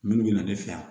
Minnu bɛ na ne fɛ yan